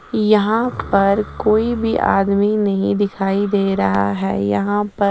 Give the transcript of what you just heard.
यहाँ पर कोई भी आदमी नही दिखाई दे रहा है यहाँ पर --